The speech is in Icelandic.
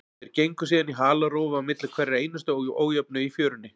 Þeir gengu síðan í halarófu á milli hverrar einustu ójöfnu í fjörunni.